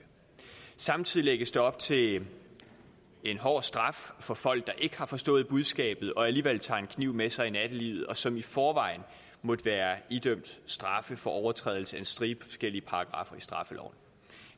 samtidig lægges der op til en hård straf for folk der ikke har forstået budskabet og alligevel tager en kniv med sig i nattelivet og som i forvejen måtte være idømt straf for overtrædelse af en stribe forskellige paragraffer i straffeloven